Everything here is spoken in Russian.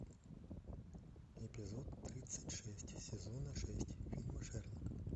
эпизод тридцать шесть сезона шесть фильма шерлок